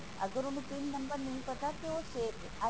ਅਗਰ ਉਹਨੂੰ pin number ਨਹੀਂ ਪਤਾ ਤਾਂ ਉਹ ਫੇਰ ਵੀ